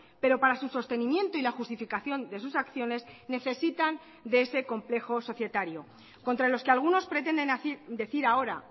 pero para su sostenimiento y la justificación de sus acciones necesitan de ese complejo societario contra los que algunos pretenden decir ahora